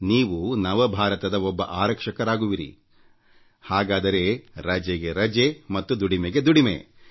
ನೀವು ನವ ಭಾರತದ ಒಬ್ಬ ಆರಕ್ಷಕರಾಗುವಿರಿ ಹಾಗಾದರೆ ರಜೆಗೆ ರಜೆ ಮತ್ತು ದುಡಿಮೆಗೆ ದುಡಿಮೆ